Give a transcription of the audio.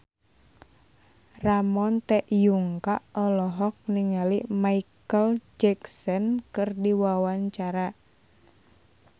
Ramon T. Yungka olohok ningali Micheal Jackson keur diwawancara